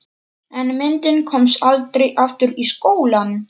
En myndin komst aldrei aftur í skólann.